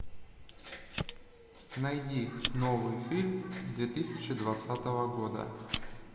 найди новый фильм две тысячи двадцатого года